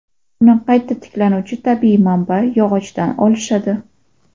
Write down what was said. Uni qayta tiklanuvchi tabiiy manba – yog‘ochdan olishadi.